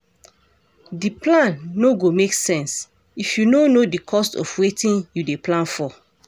D plan no go make sense if you no know di cost of wetin you dey plan for